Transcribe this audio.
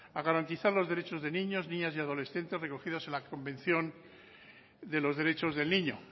a garantizar los derechos de niños niñas y adolescentes recogidos en la convención de los derechos del niño